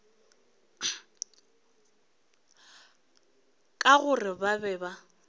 ka gore ba be ba